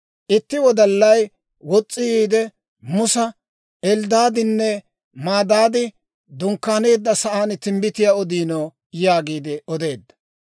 Itti wodallay wos's'i yiide, Musa, «Elddaadinne Medaadi dunkkaaneeddasan timbbitiyaa odiino» yaagiide odeedda.